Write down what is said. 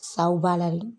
Saw b'a la de